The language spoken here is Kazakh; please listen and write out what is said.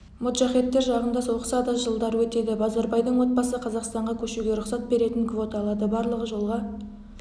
моджахеттер жағында соғысады жылдар өтеді базарбайдың отбасы қазақстанға көшуге рұқсат беретін квота алады барлығы жолға